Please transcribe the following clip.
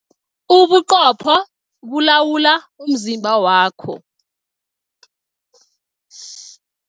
Ubuqopho bulawula umzimba wakho.